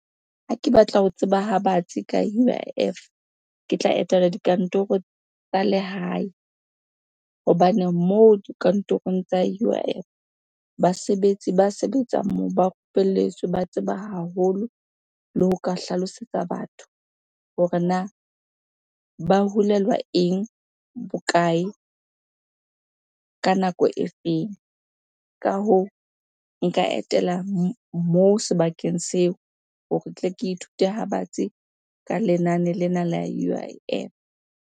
Ha ke batla ho tseba ha batsi ka U_I_F, ke tla etela dikantorong tsa lehae. Hobane moo dikantorong tsa U_I_F, basebetsi ba sebetsang moo ba rupelletsweng, ba tseba haholo le ho ka hlalosetsa batho hore na ba hulelwa eng? Bokae? Ka nako e feng? Ka hoo, nka etela moo sebakeng seo hore tle ke ithute ha batsi ka lenane lena la U_I_F.